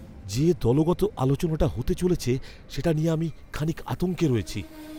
যে দলগত আলোচনাটা হতে চলেছে সেটা নিয়ে আমি খানিক আতঙ্কে রয়েছি।